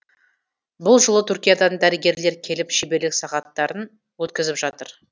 бұл жолы түркиядан дәрігерлер келіп шеберлік сағаттарын өткізіп жатыр